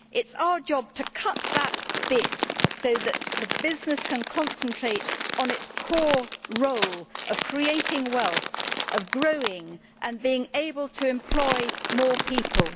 It is our job to cut that bit so that the business can concentrate on its core role of creating wealth, growing, and being able to employ more people.